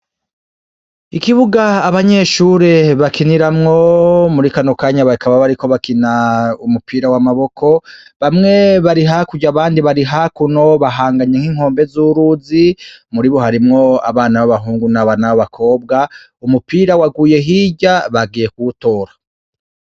Ikibuga abanyeshure bakiniramwo, muri kano kanya bakaba bariko bakina umupira w'amaboko, bamwe bari hakurya, abandi bari hakuno bahanganye nk'inkombe zuruzi, muribo harimwo abana b'abahungu n'abana b'abakobwa, umupira waguye hirya bagiye kuwutora.